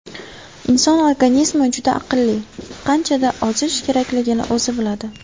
Inson organizmi juda aqlli, qanchada ozish kerakligini o‘zi biladi.